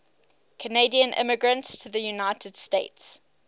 canadian immigrants to the united states